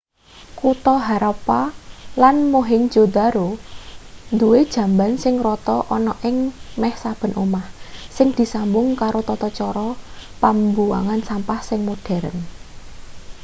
kutha harappa lan mohenjo-daro duwe jamban sing rata ana ing meh saben omah sing disambung karo tata cara pambuwangan sampah sing modheren